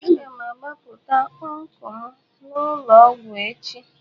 A ga-agbapụta ọncụl m n'ụlọ ọgwụ echi.